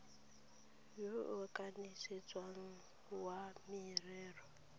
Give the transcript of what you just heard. yo o kanisitsweng wa merero